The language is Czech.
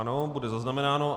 Ano, bude zaznamenáno.